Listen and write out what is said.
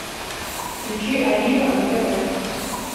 включи олива на тв